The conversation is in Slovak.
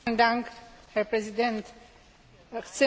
Chcem upozorniť na jeden problém.